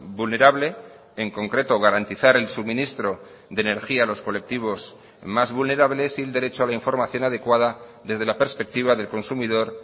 vulnerable en concreto garantizar el suministro de energía a los colectivos más vulnerables y el derecho a la información adecuada desde la perspectiva del consumidor